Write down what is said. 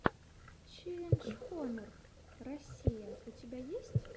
челлендж хонор россия у тебя есть